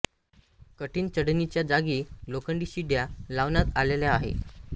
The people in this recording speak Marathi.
कठिण चढणीच्या जागी लोखंडी शिड्या लावण्यात आलेल्या आहेत